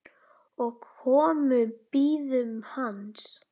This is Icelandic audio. og komu bíðum hans